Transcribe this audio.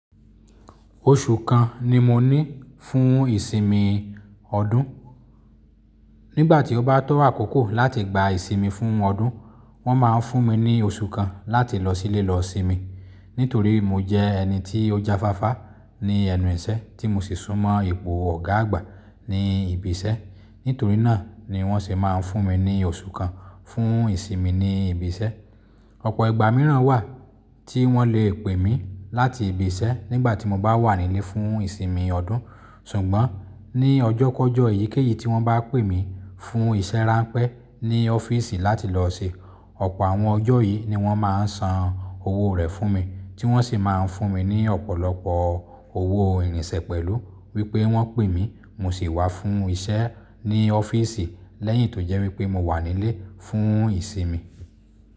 Oṣù kan ni mo ní fún ìsinmi ọdún. Nígbà tí ó bá tọ́ àkókò láti gba ìsinmi fún ọdún, wọ́n máa ń fún mi ní oṣù kan láti lọ sílé lọ sinmi. Nítorí mo jẹ ẹni tí ó jáfáfá ní ẹnu ìṣẹ́ tí mo sì súnmọ́ ipò ọ̀gá àgbà ní ibi iṣẹ́. Nítorí náà ni wọ́n sì máa ń fún mi ní oṣù kan fún ìsinmi ní ibi iṣẹ́. Ọ̀pọ̀ ìgbà mìíràn wà tí wọ́n le pè mí láti ibi iṣẹ́ nígbà tí mo bá wà nílé fún ìsinmi ọdún. Ṣùgbọ́n ní ọjọ́ kọ́jọ́ èyíkéyìí tí wọ́n bá pè mí fún iṣẹ́ ránpẹ́ ní ọ́fíìsì láti lọ ṣe, ọ̀pọ̀ àwọn ọjọ́ yìí ni wọ́n máa ń san owó rẹ̀ fún mi, tí wọ́n sì máa ń fún mi ní ọ̀pọ̀lọpọ̀ owó irinṣẹ́ pẹ̀lú wípé wọ́n pè mí, mo sì wá fún iṣẹ́ ní ọ́fíìsi lẹ́yìn tó jẹ́ wípé mo wà nílé fún ìsinmi.